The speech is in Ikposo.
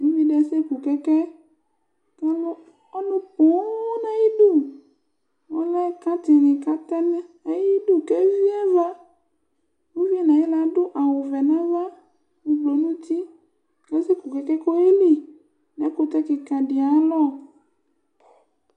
Uvidi asseku kɛkɛ Ku ɔlù pooooo nu ayi idu Ɔlɛ kantsini ku àtɛ ayi idu, ku evi ãvã Uviyɛ nu ayiwla ãdu awu vɛ nu ãvã, ublɔ nu ũtí Ku assɛ ku kɛkɛ, ku oyeli nu ɛkutɛ kikã ɖi ayu alɔ